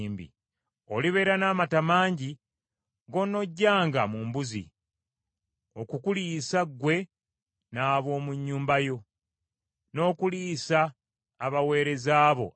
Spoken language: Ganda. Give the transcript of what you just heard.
Olibeera n’amata mangi g’onoggyanga mu mbuzi, okukuliisa ggwe n’ab’omu nnyumba yo, n’okuliisa abaweereza bo abawala.